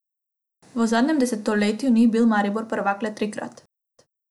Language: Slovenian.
V zadnjem desetletju ni bil Maribor prvak le trikrat.